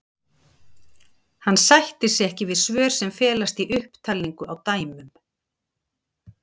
Hann sættir sig ekki við svör sem felast í upptalningu á dæmum.